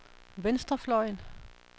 venstrefløjen